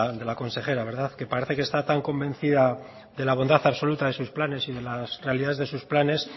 de la consejera verdad que parece que está tan convencida de la bondad absoluta de sus planes y de las realidades de sus planes